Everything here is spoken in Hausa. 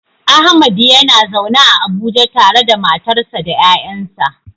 Ahmad yana zaune a Abuja tare da matarsa ​​da ƴaƴansa.